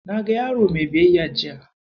Na ga yaro mai biyayya jiya.